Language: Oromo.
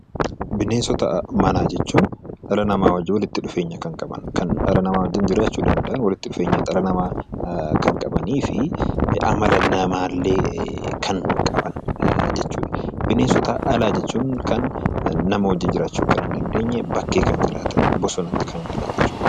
Bineensota manaa jechuun dhala namaa waliin walitti dhufeenya kan qaban, kan dhala namaa wajjin jiraachuu danda'an, dhala namaa wajjin walitti dhufeenya kan qabanii fi amala namaa illee kan qaban jechuudha. Bineensota alaa jechuun kan nama wajjin jiraachuu hin dandeenye, bakkee kan jiraatan, bosonatti kan galan jechuudha.